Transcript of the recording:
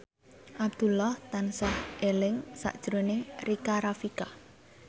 Abdullah tansah eling sakjroning Rika Rafika